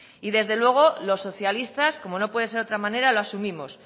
y desde luego los socialistas como no puede ser de otra manera lo asumimos